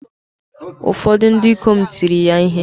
Ụfọdụ ndị ikom tiri ya ihe